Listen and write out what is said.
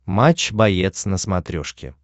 матч боец на смотрешке